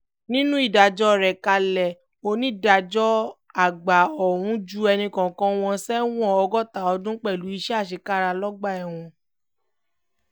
nínú ìdájọ́ rẹ̀ kalẹ̀ onídàájọ́ àgbà ọ̀hún ju ẹnì kọ̀ọ̀kan wọn sẹ́wọ̀n ọgọ́ta ọdún pẹ̀lú iṣẹ́ àṣekára lọ́gbà ẹ̀wọ̀n